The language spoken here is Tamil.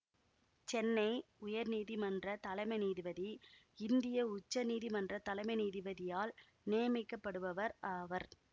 சென்னை உயர் நீதிமன்ற தலைமை நீதிபதி இந்திய உச்ச நீதிமன்ற தலைமை நீதிபதியால் நியமிக்கப்படுபவர் ஆவர்